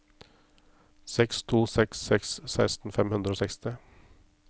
seks to seks seks seksten fem hundre og seksti